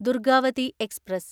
Durgavati express